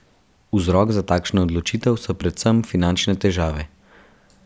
Vzrok za takšno odločitev so predvsem finančne težave.